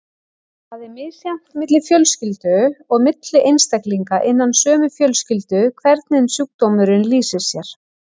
Það er misjafnt milli fjölskylda og milli einstaklinga innan sömu fjölskyldu hvernig sjúkdómurinn lýsir sér.